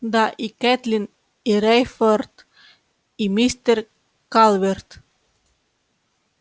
да и кэтлин и рейфорд и мистер калверт